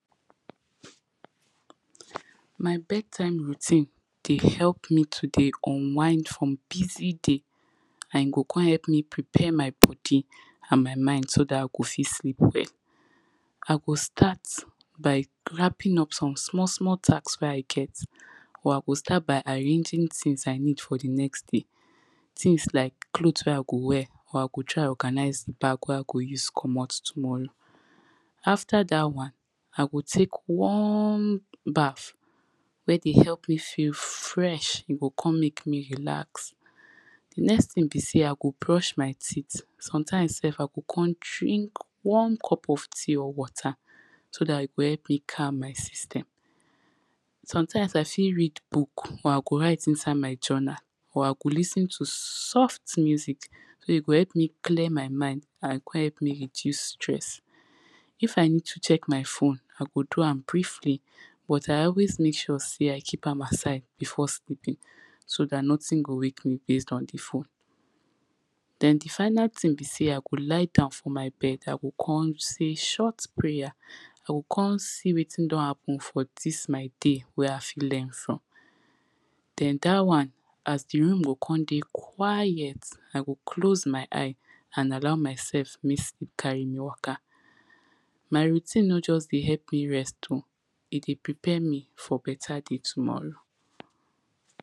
my bed time routine, dey help me to dey unwind from busy day, and e go con help me prepare my body, and my mind so dat i go fit sleep well. i go start, by wraping up some small small task wey i get, or i go start by arranging tings i need for the next day, tings like cloth wey i go wear, i go try organise the bag wey i go use comot tomorrow. after dat one, i go tek warm bath, wey dey help me feel fresh, e go con mek me relax. the next ting be sey i go brush my teeth, sometimes sef i go con drink warm cup of tea or water, so dat e go help ma calm my system. sometimes i fit read book, or i go write inside my journal, or i go lis ten to soft music wey e go help me clear my mind and con help me reduce stress. if i need to check my phone, i go do am briefly, but i always mek sure sey i keep am aside before sleeping, so dat noting go wake me based on the phone, den the final ting be sey i go lie down for my bed, i go con say short prayer, i go con see wetin don happen for dis my day, wey i fit learn from, den dat one, as the room go con dey quiet, i go close my eye, and allow mysef mek sleep carry me waka. my routine no just dey help me rest o, e dey prepare me for better day tomorrow.